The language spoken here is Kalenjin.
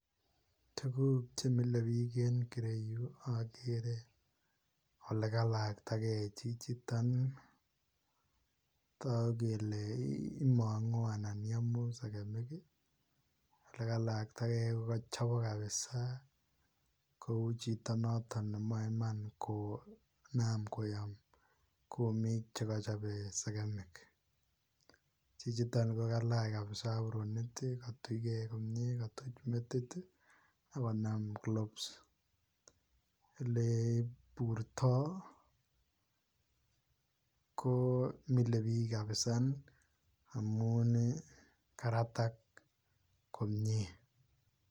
Tuguuk che mile biik en kireyuu agere ole kalajtakei chichitoon ii , taguu kele imanguu anan yamuu segemiik ii ,ole kalaktagei ii ko kachabaak kabisa kou chitoo nemae imaan konam koyaam kumiig che kachabei segemiik ,chichitoon ko kaliach kabisa abronik ii katujgei kabisa ,koger metit ii agonam gloves , ele burtoo ko mile biik kabisaa amuun ii karataak komyei.